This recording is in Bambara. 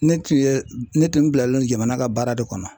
Ne tun ye ne tun bilalen no jamana ka baara de kɔnɔ .